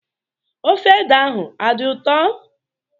Ofe ede ahụ adị ụtọ?